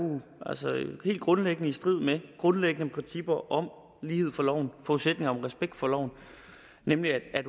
altså helt grundlæggende er i strid med grundlæggende principper om lighed for loven og respekt for loven nemlig at